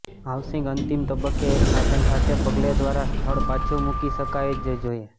housing અંતિમ તબક્કે એક સાધન સાથે પગલે દ્વારા સ્થળ પાછું મૂકી શકાય જ જોઈએ